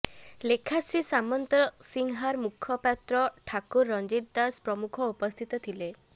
ଲେଖାଶ୍ରୀ ସାମନ୍ତସିଂହାର ମୁଖପାତ୍ର ଠାକୁର ରଂଜିତ ଦାସ ପ୍ରମୁଖ ଉପସ୍ଥିତ ଥିଲେ